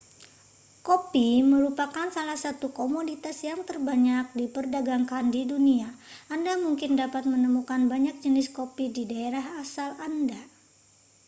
kopi merupakan salah satu komoditas yang terbanyak diperdagangkan di dunia anda mungkin dapat menemukan banyak jenis kopi di daerah asal anda